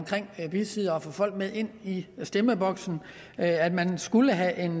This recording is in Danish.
bisiddere og at få folk med ind i stemmeboksen at man skulle have en